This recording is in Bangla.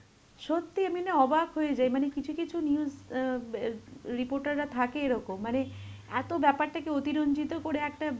সত্যিই আমি না অবাক হয়ে যাই, মানে কিছু কিছু news অ্যাঁ বে~ reporter রা থাকে এরকম, মানে এত ব্যাপারটাকে অতিরঞ্জিত করে একটা